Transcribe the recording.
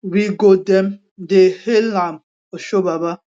we go dem dey hail am oshobaba